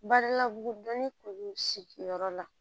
Bari ladugu dɔɔni kun bɛ sigiyɔrɔ la